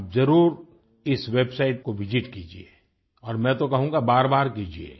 आप ज़रूर इस वेबसाइट को विसित कीजिये और मैं तो कहूँगा बारबार कीजिये